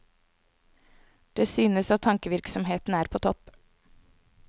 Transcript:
Det synes at tankevirksomheten er på topp.